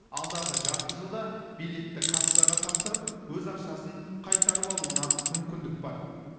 алдағы жарты жылда билетті кассаға тапсырып өз ақшасын қайтарып алуына мүмкіндік бар